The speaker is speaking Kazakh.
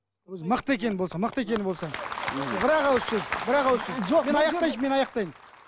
өзі мықты екені болса мықты екені болса бір ақ ауыз сөз бар ақ ауыз сөз жоқ мен аяқтайыншы мен аяқтайын